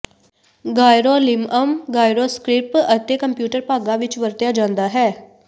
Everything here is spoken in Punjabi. ਗਾਇਰੋਲਿਮਅਮ ਗਾਇਰੋਸਕ੍ਰਿਪ ਅਤੇ ਕੰਪਿਊਟਰ ਭਾਗਾਂ ਵਿੱਚ ਵਰਤਿਆ ਜਾਂਦਾ ਹੈ